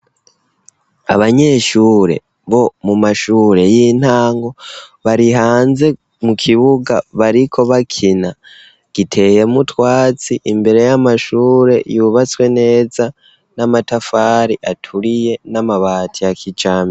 Abanyeshure bo mu mashure y'intango bari hanze mu kibuga bariko bakina, giteyemwo utwatsi imbere y'amashure yubatswe neza n'amatafari aturiye n'amabati ya kijambere.